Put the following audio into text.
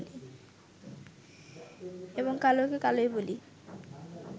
এবং কালোকে কালোই বলি